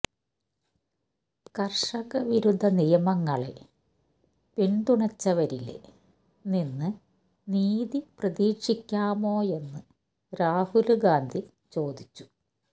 കര്ഷകവിരുദ്ധ നിയമങ്ങളെ പിന്തുണച്ചവരില് നിന്ന് നീതി പ്രതീക്ഷിക്കാമോയെന്ന് രാഹുല് ഗാന്ധി ചോദിച്ചു